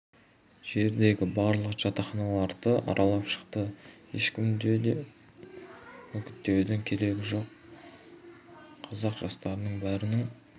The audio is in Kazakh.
жердегі барлық жатақханаларды аралап шықты ешкімді де көп үгіттеудің керегі болған жоқ қазақ жастарының бәрінің